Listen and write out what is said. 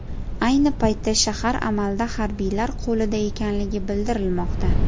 Ayni paytda shahar amalda harbiylar qo‘lida ekanligi bildirilmoqda.